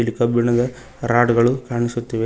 ಇಲ್ಲಿ ಕಬ್ಬಿಣದ ರಾಡ್ ಗಳು ಕಾಣಿಸುತ್ತಿವೆ.